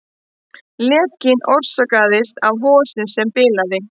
Lekinn orsakaðist af hosu sem bilaði